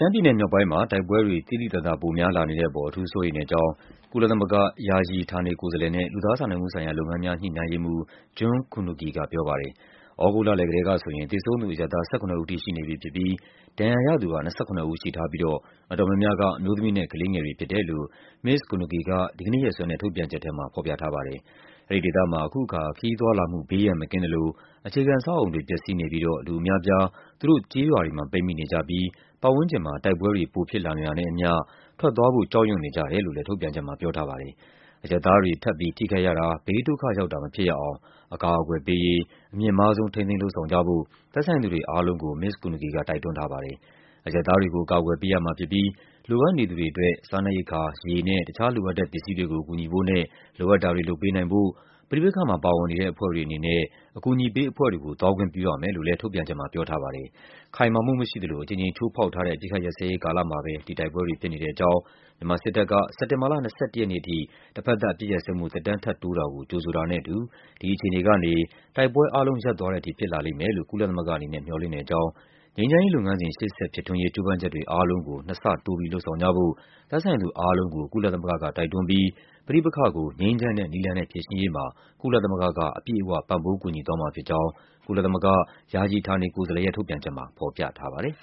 မ်းပြည်နယ်မြောက်ပိုင်းမှာ တိုက်ပွဲတွေ သိသိသာသာ ပိုများလာနေတဲ့အပေါ် အထူးစိုးရိမ် တဲ့အကြောင်း ကုလသမဂ္ဂ ယာယီ ဌာနေကိုယ်စားလှယ်နဲ့ လူသားစာနာမှုဆိုင်ရာလုပ်ငန်းများ ညှိနှိုင်းရေးမှူး June Kunugi က ပြောပါတယ်။ သြဂုတ်လလည်ကတည်းကဆိုရင် သေဆုံးသူ အရပ်သား ၁၇ ဦးထိ ရှိနေပြီဖြစ်ပြီး ဒဏ်ရာရသူက ၂၇ ဦးရှိထားပြီးတော့ အတော် များများက အမျိုးသမီးနဲ့ ကလေးငယ်တွေဖြစ်တယ်လို့ မစ္စ Kunugi က ဒီကနေ့ရက်စွဲနဲ့ ထုတ်ပြန်ချက်ထဲမှာ ဖော်ပြထားပါတယ်။ အဲဒီဒေသမှာ အခုအခါ ခရီးသွားလာမှု ဘေးရန်မကင်းသလို အခြေခံအဆောက်အအုံတွေ ပျက်စီးနေပြီးတော့ လူအများအပြား သူတို့ကျေးရွာတွေမှာ ပိတ်မိနေကြပြီး သူတို့ပတ်ဝန်းကျင်မှာ တိုက်ပွဲတွေ ပိုဖြစ်လာနေတာနဲ့အမျှ ထွက်သွားဖို့ ကြောက်ရွံ့နေကြ တယ်လို့လည်း ထုတ်ပြန်ချက်မှာ ပြောထားပါတယ်။ အရပ်သားတွေ ထပ်ပြီး ထိခိုက်ရတာ၊ ဘေးဒုက္ခရောက်တာ မဖြစ်ရအောင် အကာအကွယ်ပေးရေး အမြင့်မားဆုံး ထိန်းသိမ်း လုပ်ဆောင်ကြဖို့ သက်ဆိုင်သူတွေအားလုံးကို မစ္စ Kunugi က တိုက်တွန်း ထားပါတယ်။ အရပ်သားတွေကို အကာအကွယ်ပေးရမှာဖြစ်ပြီး လိုအပ်နေသူတွေအတွက် စားနပ်ရိက္ခာ၊ ရေနဲ့ တခြားလိုအပ်တဲ့ပစ္စည်းတွေကို ကူညီဖို့နဲ့ လိုအပ်တာတွေ လုပ်ပေးနိုင်ဖို့ ပဋိပက္ခမှာပါဝင်နေတဲ့ အဖွဲ့တွေအနေနဲ့ အကူအညီပေးအဖွဲ့တွေကို သွားခွင့်ပြုရမယ်လို့ လည်း ထုတ်ပြန်ချက်မှာ ပြောထားပါတယ်။ ခိုင်မာမှုမရှိသလို အကြိမ်ကြိမ်ချိုးဖောက်ထားတဲ့ အပစ်အခတ်ရပ်စဲရေး ကာလမှာပဲ ဒီတိုက်ပွဲတွေ ဖြစ်နေတဲ့အကြောင်း၊ မြန်မာ စစ်တပ်က စက်တင်ဘာလ ၂၁ ရက်နေ့အထိ တဘက်သပ် အပစ်ရပ်စဲမှု သက်တမ်း ထပ်တိုးတာကို ကြိုဆိုတာနဲ့အတူ ဒီအခြေ အနေကနေ တိုက်ပွဲအားလုံး ရပ်သွားတဲ့အထိ ဖြစ်လာလိမ့်မယ်လို့ ကုလသမဂ္ဂအနေနဲ့ မျှော်လင့်တဲ့အကြောင်း၊ ငြိမ်းချမ်းရေး လုပ်ငန်းစဉ် ရှေ့ဆက် ဖြစ်ထွန်းရေး ကြိုးပမ်းချက်တွေအားလုံးကို နှစ်ဆတိုးလုပ်ဆောင်ကြဖို့ သက်ဆိုင်သူအားလုံးကို ကုလသမဂ္ဂ က တိုက်တွန်းပြီး ပဋိပက္ခကို ငြိမ်းချမ်းတဲ့နည်းလမ်းနဲ့ ဖြေရှင်းရေးမှာ ကုလသမဂ္ဂက အပြည့်အဝ ပံ့ပိုးကူညီသွားမှာဖြစ်ကြောင်း ကုလသမဂ္ဂ ယာယီ ဌာနေကိုယ်စားလှယ်ရဲ့ ထုတ်ပြန်ချက်မှာ ဖော်ပြထားပါတယ်။